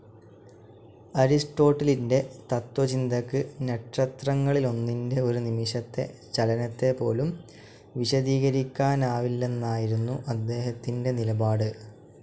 അരിസ്റ്റോട്ടലിൻ്റെ തത്വചിന്തയ്ക്ക് നക്ഷത്രങ്ങളിലൊന്നിൻ്റെ ഒരു നിമിഷത്തെ ചലനത്തെപോലും വിശദീകരിക്കാനാവില്ലെന്നായിരുന്നു അദ്ദേഹത്തിൻ്റെ നിലപാട്.